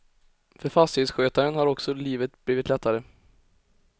För fastighetsskötaren har också livet blivit lättare.